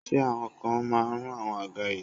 ṣe awọn ikan ma run awọn àga yìí